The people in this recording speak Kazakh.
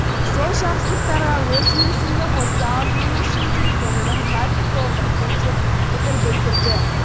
сол жақсылықтарға өз үлесімді қоса алатыным үшін де көңілім қатты толқып тұр деп пікір білдірді